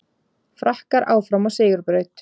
Frakkar áfram á sigurbraut